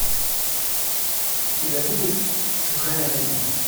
у тебя будет чужая родня